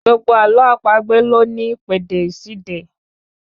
Gbogbo àlọ́ àpagbè ló ní ìpèdè ìṣíde